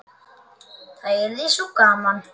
Það yrði svo gaman.